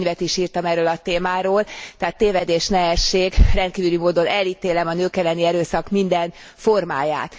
Két könyvet is írtam erről a témáról, tehát tévedés ne essék, rendkívüli módon elítélem a nők elleni erőszak minden formáját.